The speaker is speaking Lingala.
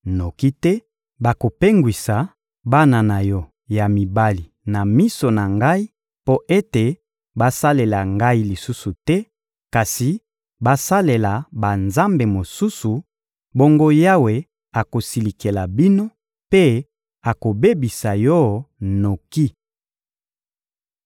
noki te, bakopengwisa bana na yo ya mibali na miso na Ngai mpo ete basalela Ngai lisusu te kasi basalela banzambe mosusu, bongo Yawe akosilikela bino mpe akobebisa yo noki.